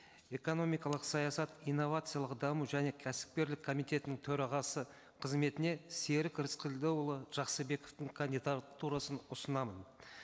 экономикалық саясат инновациялық даму және кәсіпкерлік комитетінің төрағасы қызметіне серік рыскелдіұлы жақсыбековтың кандидатурасын ұсынамын